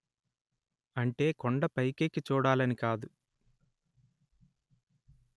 అంటే కొండ పైకెక్కి చూడాలని కాదు